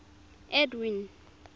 edwin